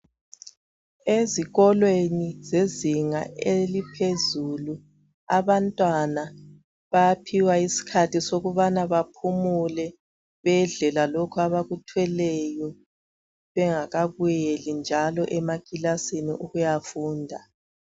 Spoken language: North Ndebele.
ezikolweni zezinga eliphezulu abantwana bayaphiwa isikhathi sokubana baphumule bedle lalokho abakuthweleyo bengabuyeli njalo emakilasini ukuyafunda